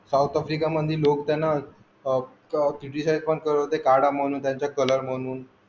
South Africa मधी लोक त्यांना criticize पण करत होते कला म्हणून त्यांचा कलर म्हणून